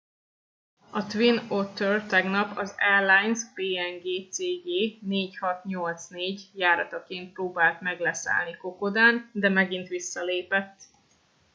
a twin otter tegnap az airlines png cg 4684 járataként próbált meg leszállni kokodán de megint visszalépett